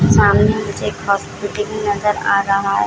सामने मुझे एक हॉस्पिटल भी नजर आ रहा है।